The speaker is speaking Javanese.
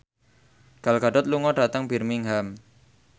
Gal Gadot lunga dhateng Birmingham